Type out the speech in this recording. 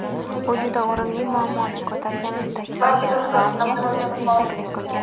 u juda o‘rinli muammoni ko‘targanini ta’kidlagan va unga ish taklif qilgan.